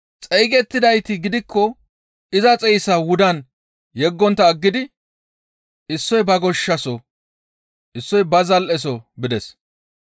Xeygettidayti gidikko iza xeyssaa wudan yeggontta aggidi issoy ba goshshasoho, issoy ba zal7eso bides.